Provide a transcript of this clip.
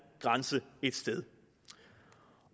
grænse et sted